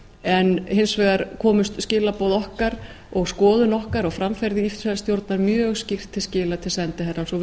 en hins vegar komust skilaboð okkar og skoðun okkar á framfæri ísraelsstjórnar mjög skýrt til skila til sendiherrans og